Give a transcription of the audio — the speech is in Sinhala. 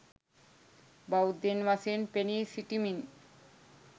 බෞද්ධයින් වශයෙන් පෙනී සිටිමින්